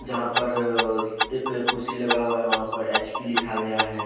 जहां पर एक कुर्सी लगा हुआ है वहां पर एच_पी लिखा गया है।